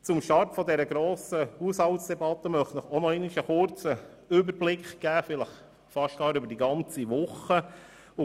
Zu Beginn dieser Haushaltsdebatte möchte ich Ihnen einen kurzen Überblick über wahrscheinlich fast die ganze Woche geben.